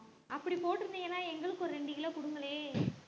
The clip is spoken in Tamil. அப்படி போட்டிருந்தீங்கன்னா எங்களுக்கு ஒரு ரெண்டு கிலோ கொடுங்களேன்